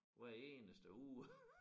Hver eneste uge